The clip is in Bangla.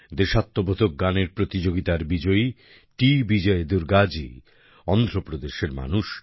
দেশাত্মবোধক গানের প্রতিযোগিতার বিজয়ী টি বিজয় দুর্গাজী অন্ধ্র প্রদেশের মানুষ